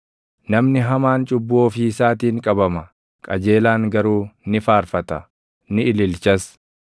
Namni hamaan cubbuu ofii isaatiin qabama; qajeelaan garuu ni faarfata; ni ililchas.